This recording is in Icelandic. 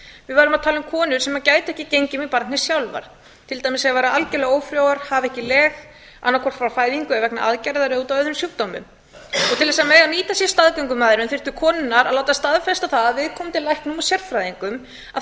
við verðum að tala um konur sem gætu ekki gengið með barnið sjálfar til dæmis ef þær væru algerlega ófrjóar hafa ekki leg annaðhvort frá fæðingu vegna aðgerðar eða út frá öðrum sjúkdómum til að mega nýta sér staðgöngumæðrun þyrftu konurnar að láta staðfesta það af viðkomandi læknum og sérfræðingum að